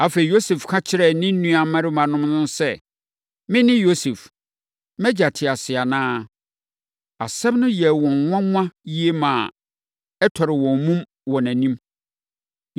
Afei, Yosef ka kyerɛɛ ne nuammarimanom no sɛ, “Mene Yosef! Mʼagya te ase anaa?” Asɛm no yɛɛ wɔn nwanwa yie ma ɛtɔree wɔn mumu wɔ nʼanim.